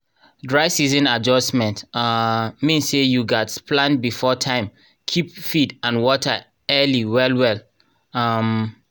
dry season adjustment um mean say you gats plan before time keep feed and water early well well. um